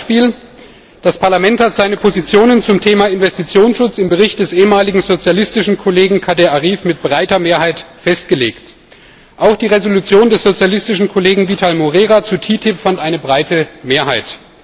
Ein Beispiel Das Parlament hat seine Positionen zum Thema Investitionsschutz im Bericht des ehemaligen sozialistischen Kollegen Kader Arif mit breiter Mehrheit festgelegt. Auch die Entschließung des sozialistischen Kollegen Vital Moreira zu TTIP fand eine breite Mehrheit.